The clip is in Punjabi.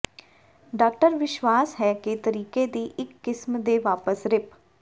ਡਾਕਟਰ ਵਿਸ਼ਵਾਸ ਹੈ ਕਿ ਤਰੀਕੇ ਦੀ ਇੱਕ ਕਿਸਮ ਦੇ ਵਾਪਸ ਰਿਪ